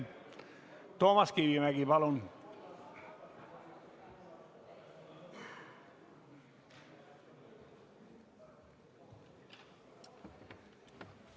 Toomas Kivimägi, palun!